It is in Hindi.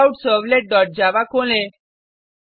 चेकआउटसर्वलेट डॉट जावा खोलें